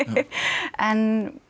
en